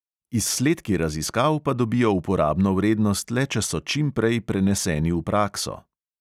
Izsledki raziskav pa dobijo uporabno vrednost le, če so čim prej preneseni v prakso.